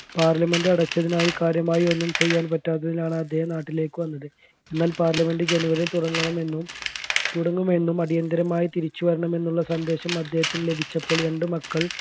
parliament അടച്ചതിനാൽ കാര്യമായി ഒന്നും ചെയ്യാൻ പറ്റാത്തതിനാലാണ് അദ്ദേഹം നാട്ടിലേക്ക് വന്നത് എന്നാൽ parliament ജനുവരിയിൽ തുടങ്ങണമെന്നും തുടങ്ങുമെന്നും അടിയന്തരമായി തിരിച്ചു വരണമെന്നുള്ള സന്ദേശം അദ്ദേഹത്തിന് ലഭിച്ചപ്പോൾ രണ്ട് മക്കൾ